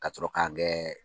Ka sɔrɔ k'an gɛ